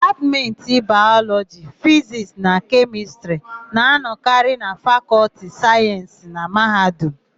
Dipatmentị Bayọlọjị, Fizisti na Kemịstịrị na-anọkarị na Fakọlti Sayensị na mahadum.